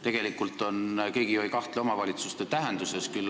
Tegelikult ju keegi ei kahtle omavalitsuste tähtsuses.